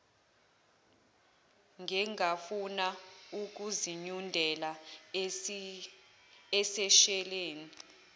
engafuna ukuzinyundela eseshelini